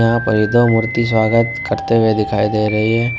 यहां पर यह दो मूर्ति स्वागत करते हुए दिखाई दे रही है।